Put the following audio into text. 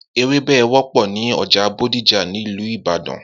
Ewebẹ̀ wọpọ ni ọjà Bódìjà ni Ilu Ìbàdàn